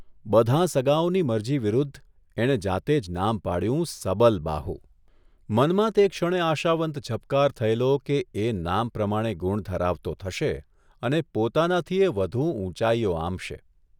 બધાં સગાંઓની મરજી વિરુદ્ધ એણે જાતે જ નામ પાડ્યું સબલબાહુ મનમાં તે ક્ષણે આશાવંત ઝબકાર થયેલો કે એ નામ પ્રમાણે ગુણ ધરાવતો થશે અને પોતાનાથીયે વધુ ઊંચાઇઓ આંબશે.